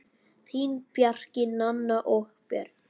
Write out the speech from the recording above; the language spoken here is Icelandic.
Þín, Bjarki, Nanna og Björn.